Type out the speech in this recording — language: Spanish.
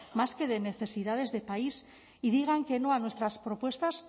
más que de necesidades de país y digan que no a nuestras propuestas